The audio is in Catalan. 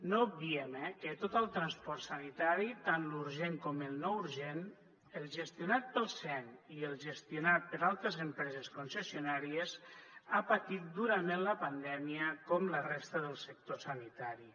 no obviem eh que tot el transport sanitari tant l’urgent com el no urgent el gestionat pel sem i el gestionat per altres empreses concessionàries ha patit durament la pandèmia com la resta del sector sanitari